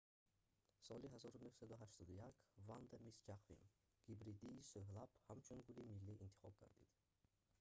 соли 1981 ванда мисс ҷаквим гибридии сӯҳлаб ҳамчун гули миллӣ интихоб гардид